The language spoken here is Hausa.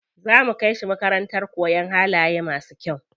Za mu kai shi makarantar koyan halaye masu kyau.